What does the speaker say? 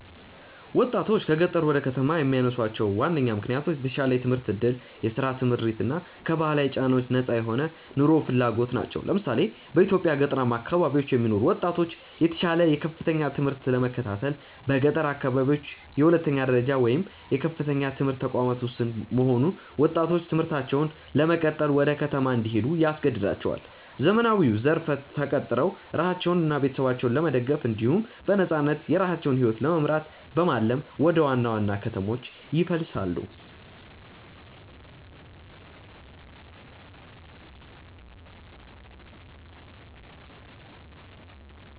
ወጣቶችን ከገጠር ወደ ከተማ የሚያነሳሷቸው ዋነኛ ምክንያቶች የተሻለ የትምህርት ዕድል፣ የሥራ ስምሪት እና ከባህላዊ ጫናዎች ነፃ የሆነ ኑሮ ፍለጋ ናቸው። ለምሳሌ፣ በኢትዮጵያ ገጠራማ አካባቢዎች የሚኖሩ ወጣቶች የተሻለ የከፍተኛ ትምህርት ለመከታተል በገጠር አካባቢዎች የሁለተኛ ደረጃ ወይም የከፍተኛ ትምህርት ተቋማት ውስን መሆን ወጣቶች ትምህርታቸውን ለመቀጠል ወደ ከተማ እንዲሄዱ ያስገድዳቸዋል። ዘመናዊው ዘርፍ ተቀጥረው ራሳቸውንና ቤተሰባቸውን ለመደገፍ እንዲሁም በነፃነት የራሳቸውን ሕይወት ለመምራት በማለም ወደ ዋና ዋና ከተሞች ይፈልሳሉ።